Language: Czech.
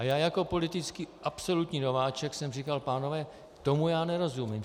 A já jako politický absolutní nováček jsem říkal: Pánové, tomu já nerozumím.